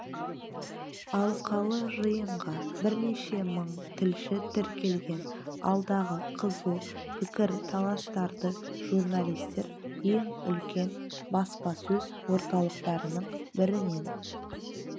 алқалы жиынға бірнеше мың тілші тіркелген алдағы қызу пікір-таластарды журналистер ең үлкен баспасөз орталықтарының бірінен